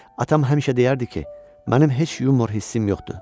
Atam həmişə deyərdi ki, mənim heç yumor hissim yoxdur.